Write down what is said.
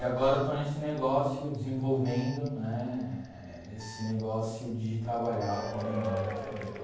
E agora eu estou nesse negócio, desenvolvendo né esse negócio de trabalhar com a memória da família.